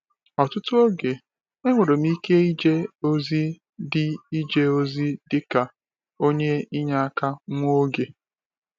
Ọtụtụ oge, enwere m ike ije ozi dị ije ozi dị ka onye inyeaka nwa oge.